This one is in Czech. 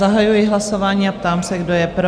Zahajuji hlasování a ptám se, kdo je pro?